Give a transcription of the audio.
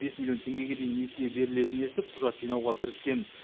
бес миллион теңгеге дейін несие берілетінін естіп құжат жинауға кіріскен